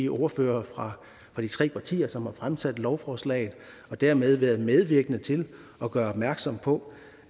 ordførerne fra de tre partier som har fremsat lovforslaget og dermed har været medvirkende til at gøre opmærksom på